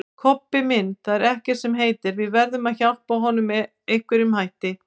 Kobbi minn, það er ekkert sem heitir, við verðum að hjálpa honum með einhverjum hætti